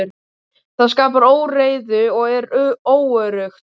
Það skapar óreiðu og er óöruggt.